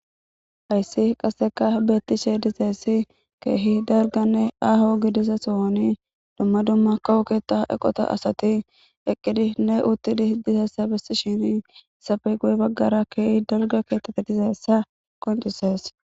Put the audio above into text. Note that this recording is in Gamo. hayssi qaseka beettishe dizessi keehi darganne aho gidisa sohoni dumma dumma kawuketa eqota asati eqqidi ne uttidih disessa bessi shini safe gu7e baggara keehi darga keettette dizessa qoncises